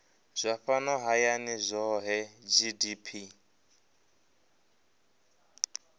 zwa fhano hayani zwohe gdp